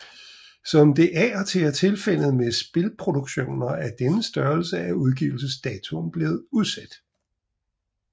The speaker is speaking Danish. Som det af og til er tilfældet med spilproduktioner af denne størrelse er udgivelsesdatoen blevet udsat